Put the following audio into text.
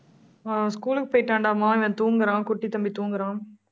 அஹ் school க்கு போயிட்டாண்டாமா இவன் தூங்கறான் குட்டித்தம்பி தூங்குறான்